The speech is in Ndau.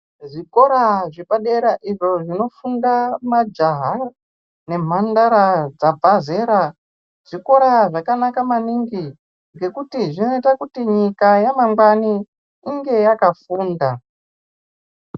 Zvikora zvepadera izvo zvinofunda majaha nemhandara dzabva zera, zvikora zvakanaka maningi ngekuti zvinoite kuti nyika yamangwani inge yakafunda.